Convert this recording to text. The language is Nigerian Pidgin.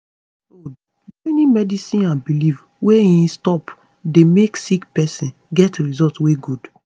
hold - joining medicine and belief wey em stop dey make sick pesin get result wey good